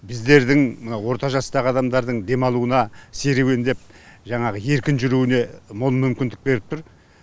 біздердің мына орта жастағы адамдардың демалуына серуендеп жаңағы еркін жүруіне мол мүмкіндік беріп тұр